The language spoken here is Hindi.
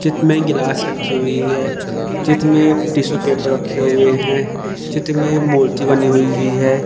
चित में गिलास रखी हुई है चित में टिशू पेपर रखे हुए हैं चित में मूर्ति बनी हुई है।